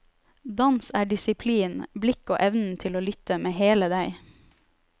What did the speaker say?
Dans er disiplin, blikk og evnen til å lytte med hele deg.